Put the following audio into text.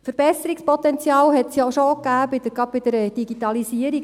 Verbesserungspotenzial gab es ja auch schon bei der Digitalisierung.